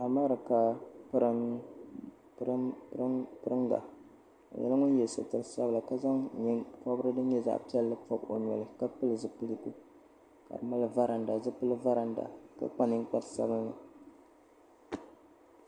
Amarika piringa o nyɛla ŋun ye sitiri sabila ka zaŋ nyɛpobrigu din nyɛ zaɣa piɛlli pobi o noli ka pili zipiligu ka mali varanda zipili varanda ka kpa ninkpari sabinli.